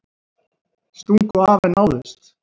Stungu af en náðust